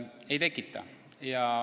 Ei kahjusta.